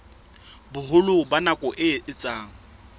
boholo ba nako e etsang